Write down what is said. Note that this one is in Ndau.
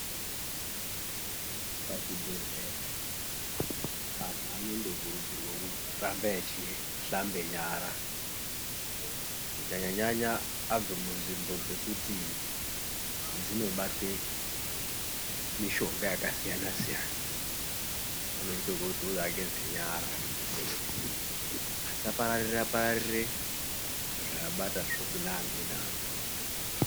Pazvibhehleya antu anondokurudzirwa kuramba echihlambe nyara kunyanya-nyanya abve munzvimbo dzekuti dzinobatwe mishonga yakasiyana-siyana. Anoinda kuti ageze nyara kuitire kuti asapararira-pararire zvaabatazvo kune amweni anhu.